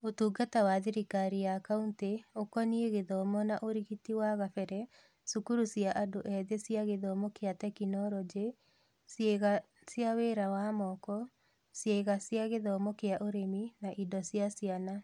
Ũtungata wa thirikari ya kaunti ũkoniĩ gĩthomo nĩ ũrigiti wa kabere, cukuru cia andũ ethĩ cia gĩthomo kĩa tekinoronjĩ, ciĩga cia wĩra wa moko, ciĩga cia gĩthomo kĩa ũrĩmi, na indo cia ciana.